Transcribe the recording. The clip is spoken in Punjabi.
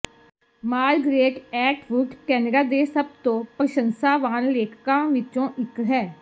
ਮਾਰਗ੍ਰੇਟ ਐਟਵੁੱਡ ਕੈਨਡਾ ਦੇ ਸਭ ਤੋਂ ਪ੍ਰਸ਼ੰਸਾਵਾਨ ਲੇਖਕਾਂ ਵਿੱਚੋਂ ਇਕ ਹੈ